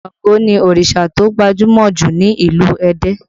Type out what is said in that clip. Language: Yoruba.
Ṣàngó ni òrìṣà tó gbajúmọ̀ jù ní ìlú Ẹdẹ